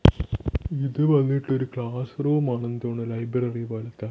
ഇത് വന്നിട്ട് ഒരു ക്ലാസ് റൂമാണെന്ന് ആണെന്ന് തോനുന്നു ലൈബ്രറി പോലത്തെ.